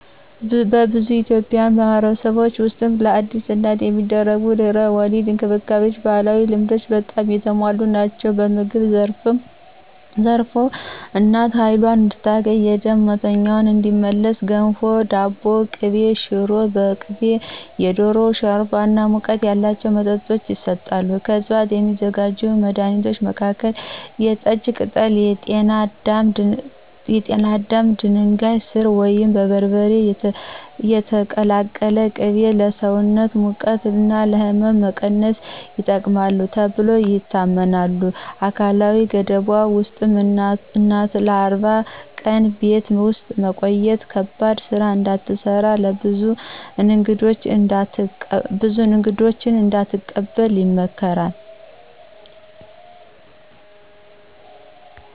በብዙ የኢትዮጵያ ማኅበረሰቦች ውስጥ ለአዲስ እናት የሚደረጉ የድህረ-ወሊድ እንክብካቤዎች በባህላዊ ልማዶች በጣም የተሞሉ ናቸው። በምግብ ዘርፍ እናቱ ኃይሏን እንድታገኝና የደም መቶኛዋ እንዲመለስ ገንፎ፣ ዳቦ በቅቤ፣ ሽሮ በቅቤ፣ የዶሮ ሾርባ እና ሙቀት ያላቸው መጠጦች ይሰጣሉ። ከዕፅዋት የሚዘጋጁ መድኃኒቶች መካከል የጠጅ ቅጠል፣ ጤና አዳም፣ ድንጋይ ሥር ወይም በርበሬ የተቀላቀለ ቅቤ ለሰውነት ሙቀት እና ሕመም መቀነስ ይጠቅማሉ ተብለው ይታመናሉ። አካላዊ ገደቦች ውስጥ እናቱ ለ40 ቀን ቤት ውስጥ መቆየት፣ ከባድ ሥራ እንዳትሰራ፣ ብዙ እንግዶች እንዳትቀበል ይመከራል።